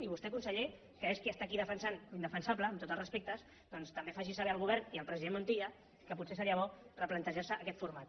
i vostè conseller que és qui està aquí defensant l’indefensable amb tots els respectes doncs també faci saber al govern i al president montilla que potser seria bo replantejar se aquest format